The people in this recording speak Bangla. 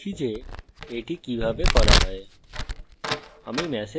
এখন দেখি যে এটি কিভাবে করা যায়